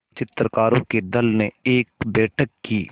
चित्रकारों के दल ने एक बैठक की